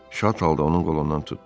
Şad halda onun qolundan tutdu: